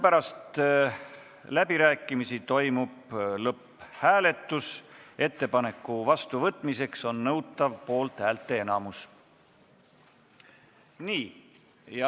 Pärast läbirääkimisi toimub lõpphääletus, ettepaneku vastuvõtmiseks on nõutav poolthäälte enamus.